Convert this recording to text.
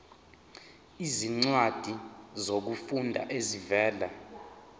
izincwadi zokufunda ezivela